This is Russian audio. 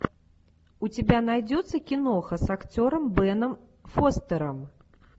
у тебя найдется киноха с актером беном фостером